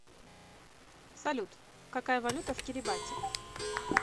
салют какая валюта в кирибати